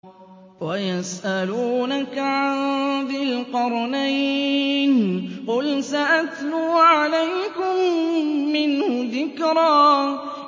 وَيَسْأَلُونَكَ عَن ذِي الْقَرْنَيْنِ ۖ قُلْ سَأَتْلُو عَلَيْكُم مِّنْهُ ذِكْرًا